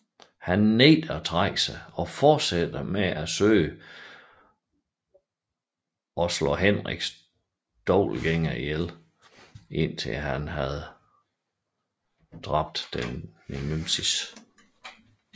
Han nægter at trække sig og fortsætter med at søge at dræbe Henriks dobbeltgængere indtil han havde dræbt sin nemesis